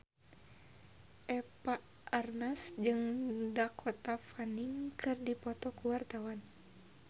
Eva Arnaz jeung Dakota Fanning keur dipoto ku wartawan